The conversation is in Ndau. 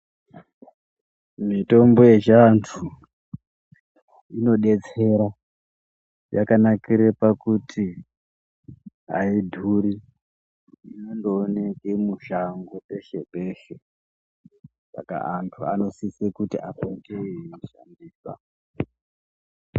Mitombo yechivantu inodetsera yakanakire pakuti aidhuri inondooneke mushango peshe peshe Saka antu anosise kuti apote eiishandisa.